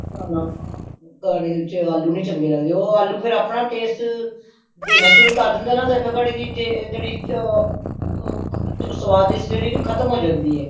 ਆਲੂ ਨਹੀਂ ਚੰਗੇ ਲੱਗਦੇ ਨੇ ਉਹ ਆਲੂ ਫੇਰ ਆਪਣਾ taste ਦੇਣਾ ਸ਼ੁਰੂ ਕਰ ਦੇਂਦਾਂ ਹੈ ਨਾ ਤੇ ਕੜੀ ਦੀ ਆ ਆ ਸ੍ਵਾਦਿਸ਼ ਖਤਮ ਹੋ ਜਾਂਦੀ ਹੈ